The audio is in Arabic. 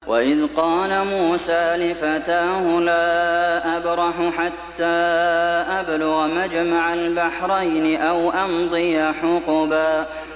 وَإِذْ قَالَ مُوسَىٰ لِفَتَاهُ لَا أَبْرَحُ حَتَّىٰ أَبْلُغَ مَجْمَعَ الْبَحْرَيْنِ أَوْ أَمْضِيَ حُقُبًا